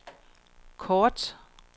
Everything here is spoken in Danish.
kort